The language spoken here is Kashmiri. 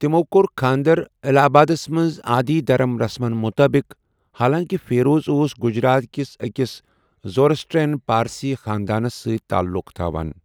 تِمو کوٚر خانٛدر الہ آبادس منٛز آدی دھرم رسمن مطٲبِق، حالانٛکہِ فیروز اوس گجرات کِس ٲکِس زورسٹرین پارسی خاندانس سۭتۍ تعلُق تھاوان۔